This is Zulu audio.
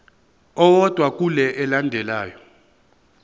owodwa kule elandelayo